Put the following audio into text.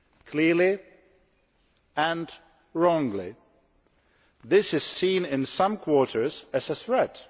Clearly, and wrongly, this is seen in some quarters as a threat.